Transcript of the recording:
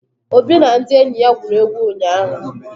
Obi na ndị enyi ya gwuru egwu ụnyahụ.